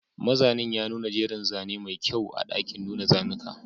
Mazanin ya nuna jerin zane mai kyau a ɗakin nuna zanuka